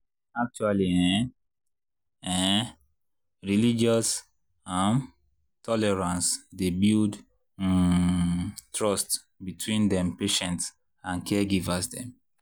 actually ehnnn ehnnn religious um tolerance dy builds um trust between dem patients and caregivers dem.